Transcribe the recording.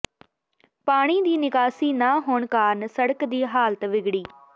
ਪਾਣੀ ਦੀ ਨਿਕਾਸੀ ਨਾ ਹੋਣ ਕਾਰਨ ਸੜਕ ਦੀ ਹਾਲਤ ਵਿਗੜੀ